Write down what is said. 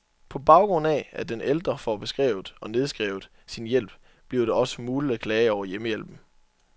På baggrund af, at den ældre får beskrevet, og nedskrevet, sin hjælp, bliver det også muligt at klage over hjemmehjælpen.